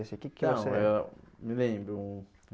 Assim O que que você... Não, eu me lembro.